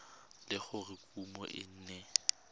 le gore kumo e ne